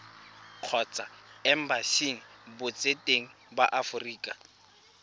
kgotsa embasing botseteng ba aforika